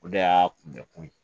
O de y'a kunbɛ kun ye